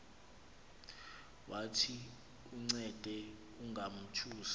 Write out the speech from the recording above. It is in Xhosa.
wathi uncede ungamothusi